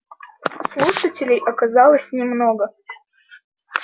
слушателей оказалось немного